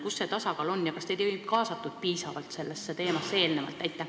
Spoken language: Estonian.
Kus see tasakaal on ja kas teid ei kaasatud piisavalt sellesse teemasse eelnevalt?